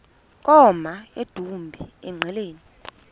koma emdumbi engqeleni